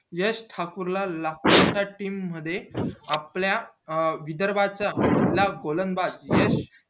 यश ठाकूर ला लखनऊ च्या team मध्ये आपल्या विदर्भाच्या गोलंदाबाज याने